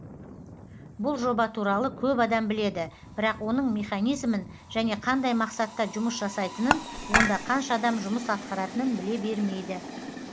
бұл жоба туралы көп адам біледі бірақ оның механизмін және қандай мақсатта жұмыс жасайтынын онда қанша адам жұмыс атқаратынын біле бермейді